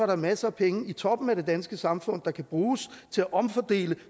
der masser af penge i toppen af det danske samfund der kan bruges til at omfordele